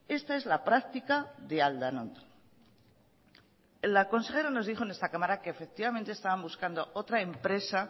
esta es la práctica de aldanondo la consejera nos dijo en esta cámara que efectivamente estaban buscando otra empresa